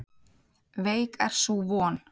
Veik er sú von.